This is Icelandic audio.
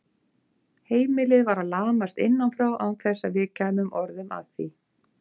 Heimilið var að lamast innan frá án þess að við kæmum orðum að því.